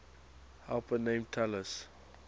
helper named talus